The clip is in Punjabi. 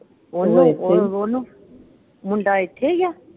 ਉਹਨੂੰ ਮੁੰਡਾ ਇੱਥੇ ਈ ਆ?